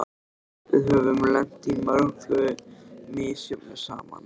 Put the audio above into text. Við höfum lent í mörgu misjöfnu saman.